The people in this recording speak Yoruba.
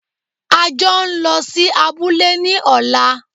A jọ ń lọ sí abúlé ní ọ̀la!